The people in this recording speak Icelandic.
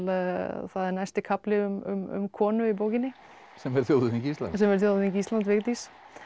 það er næsti kafli um konu í bókinni sem er þjóðhöfðingi Íslands sem er þjóðhöfðingi Íslands Vigdís